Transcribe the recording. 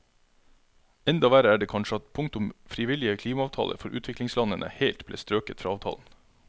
Enda verre er det kanskje at punktet om frivillige klimaavtaler for utviklingslandene helt ble strøket fra avtalen.